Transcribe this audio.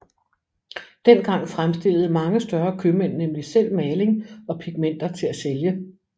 Dengang fremstillede mange større købmænd nemlig selv maling og pigmenter til at sælge